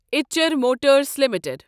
ایچر motors limited